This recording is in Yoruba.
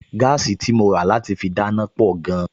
Gáàsì tí mo rà láti fi dáná pọ̀ gan-an